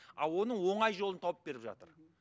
а оны оңай жолын тауып беріп жатыр